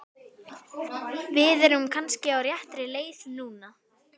Við erum kannski á réttri leið núna!